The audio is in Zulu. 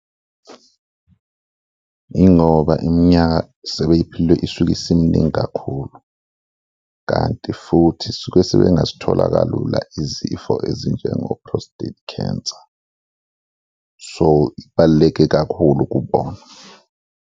Yingoba iminyaka sebeyiphilwe isuke isiminingi kakhulu kanti futhi suke sebengasithola kalula izifo ezinjengo-prostate cancer, so ibaluleke kakhulu kubona.